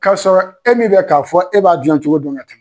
K'a sɔrɔ e min bɛ k'a fɔ e b'a dilan cogo don ka tɛmɛ